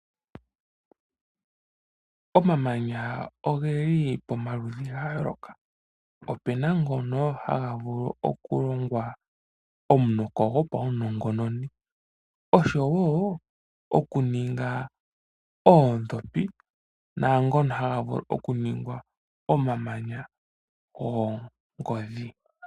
Omamanya ogeli omaludhi gayooloka, opena ngono haga vulu okulongwa omunoko gopawunongononi oshowo okuninga oodhopi naangono haga vulu okuningwa omamanya goongodhi.